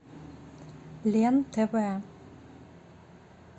лен тв